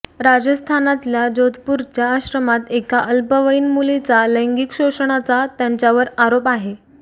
राजस्थानातल्या जोधपूरच्या आश्रमात एका अल्पवयीन मुलीचा लैंगिक शोषणाचा त्यांच्यावर आरोप आहे